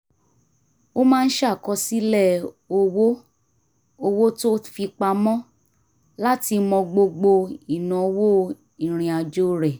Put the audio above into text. ó máa ń ṣàkọsílẹ̀ owó owó tó fi pamọ́ láti mọ gbogbo ìnáwó ìrìnàjò rẹ̀